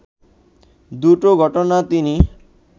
দুটো ঘটনা তিনি